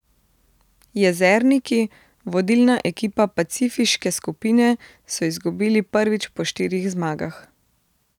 Jezerniki, vodilna ekipa pacifiške skupine, so izgubili prvič po štirih zmagah.